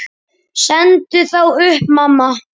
Sendu þá upp, mamma.